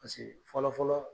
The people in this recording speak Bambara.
Paseke fɔlɔ fɔlɔ